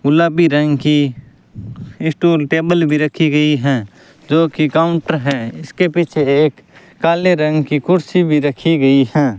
गुलाबी रंग की स्टूल टेबल भी रखी गयी है जो की काउंटर है इसके पीछे एक काले रंग की कुर्सी भी रखी गयी हैं।